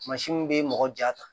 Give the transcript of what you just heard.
Kumasi min bɛ mɔgɔ ja ta